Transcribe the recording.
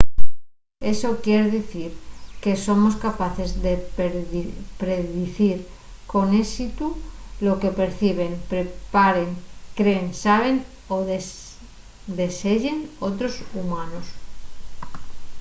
eso quier dicir que somos capaces de predicir con ésitu lo que perciben preparen creen saben o deseyen otros humanos